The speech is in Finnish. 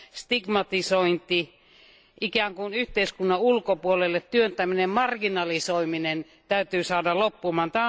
stigmatisointi, ikään kuin yhteiskunnan ulkopuolelle työntäminen ja marginalisoiminen saadaan loppumaan.